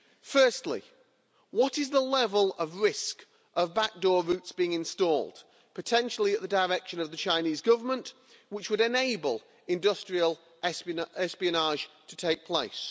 Firstly, what is the level of risk of back door routes being installed, potentially at the direction of the Chinese Government, which would enable industrial espionage to take place?